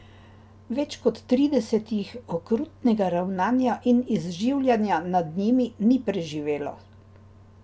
Več kot trideset jih okrutnega ravnanja in izživljanja nad njimi, ni preživelo.